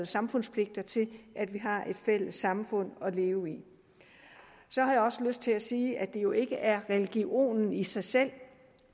samfundspligt til at vi har et fælles samfund at leve i så har jeg også lyst til at sige at det jo ikke er religion i sig selv